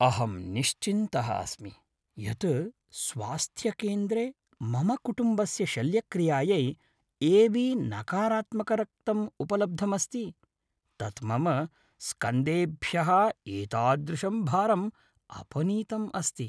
अहं निश्चिन्तः अस्मि यत् स्वास्थ्यकेन्द्रे मम कुटुम्बस्य शल्यक्रियायै ए.बी नकारात्मक रक्तं उपलब्धम् अस्ति। तत् मम स्कन्धेभ्यः एतादृशं भारम् अपनीतम् अस्ति।